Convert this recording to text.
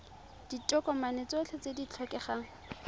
ditokomane tsotlhe tse di tlhokegang